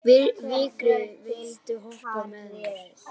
Vigri, viltu hoppa með mér?